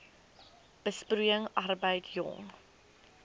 besproeiing arbeid jong